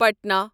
Patna